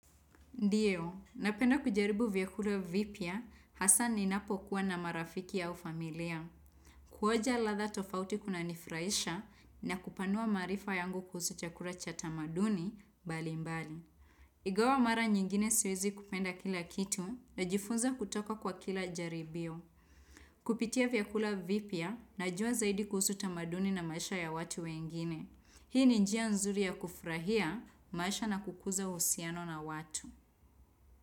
Ndiyo, napenda kujaribu vyakula vipya hasa ninapo kuwa na marafiki au familia. Kuonja ladha tofauti kunanifurahisha na kupanua maarifa yangu kuhusu chakula cha tamaduni mbali mbali. Ingawa mara nyingine siwezi kupenda kila kitu najifunza kutoka kwa kila jaribio. Kupitia vyakula vipya najua zaidi kuhusu tamaduni na maisha ya watu wengine. Hii ni njia nzuri ya kufurahia maisha na kukuza uhusiano na watu.